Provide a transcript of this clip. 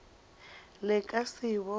le ka se e bone